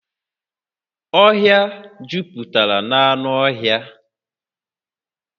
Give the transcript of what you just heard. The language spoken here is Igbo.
Ọhịa a juputara na anụ ọhịa